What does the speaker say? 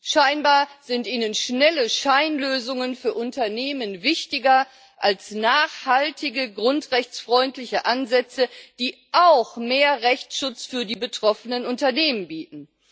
Scheinbar sind ihnen schnelle Scheinlösungen für Unternehmen wichtiger als nachhaltige, grundrechtsfreundliche Ansätze, die auch mehr Rechtsschutz für die betroffenen Unternehmen bieten.